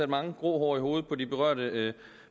mange grå hår i hovedet på de berørte